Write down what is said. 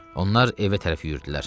Onlar evə tərəf yüyürdülər.